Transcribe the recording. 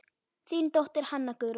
Þín dóttir, Hanna Guðrún.